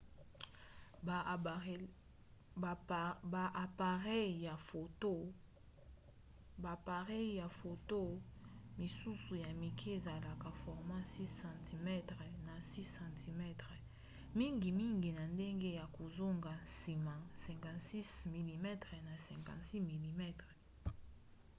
ba apareyi ya foto misusu ya mike esalelaka format 6 cm na 6 cm mingimingi na ndenge ya kozonga nsima 56 mm na 56 mm